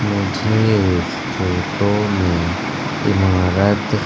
मुझे इस फोटो में इमारत--